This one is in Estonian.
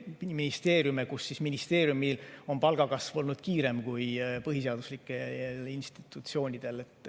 Ministeeriumides on palgakasv olnud kiirem kui põhiseaduslikes institutsioonides.